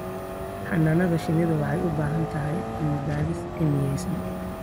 Xannaanada shinnidu waxay u baahan tahay cilmi-baadhis cilmiyaysan.